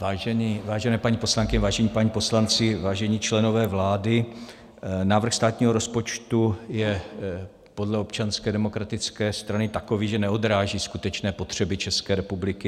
Vážené paní poslankyně, vážení páni poslanci, vážení členové vlády, návrh státního rozpočtu je podle Občanské demokratické strany takový, že neodráží skutečné potřeby České republiky.